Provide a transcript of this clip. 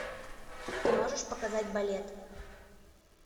ты можешь показать балет